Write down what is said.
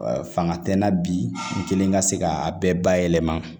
Fanga tɛ n na bi n kelen ka se k'a bɛɛ bayɛlɛma